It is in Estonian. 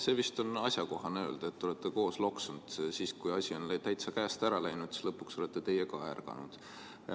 Vist oleks asjakohane öelda, et te olete koos sellega loksunud ja kui asi on täitsa käest ära läinud, siis lõpuks olete teie ka ärganud.